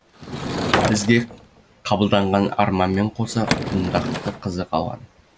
бізге қабылданған арманмен қоса құндақта қызы қалған